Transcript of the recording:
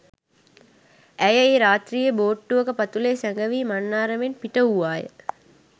ඇය ඒ රාත්‍රියේ බෝට්ටුවක පතුලේ සැඟවී මන්නාරමෙන් පිටවූවා ය.